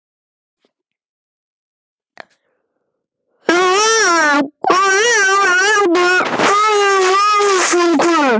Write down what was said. En hvað segir launafólk?